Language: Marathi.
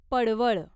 पडवळ